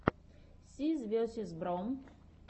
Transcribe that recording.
сис весиз бро